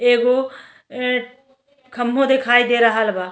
एगो अ खम्भाे दिखाई दे रहल बा।